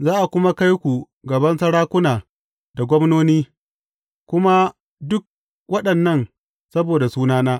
Za a kuma kai ku gaban sarakuna da gwamnoni, kuma dukan waɗannan saboda sunana.